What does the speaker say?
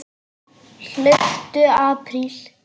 Hlauptu apríl.